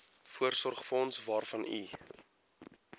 voorsorgsfonds waarvan u